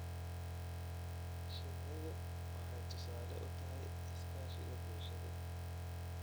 Shinnidu waxay tusaale u tahay iskaashiga bulshada.